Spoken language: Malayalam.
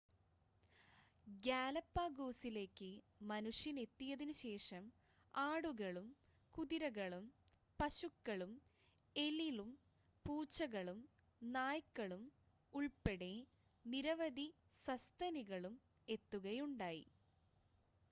ഗാലപാഗോസിലേക്ക് മനുഷ്യൻ എത്തിയതിനുശേഷം ആടുകളും കുതിരകളും പശുക്കളും എലിളും പൂച്ചകളും നായ്ക്കളും ഉൾപ്പെടെ നിരവധി സസ്തനികളും എത്തുകയുണ്ടായി